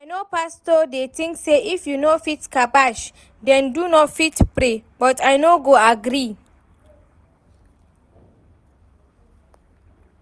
I know pastor dey think say if you no fit kabbash den you no fit pray but I no agree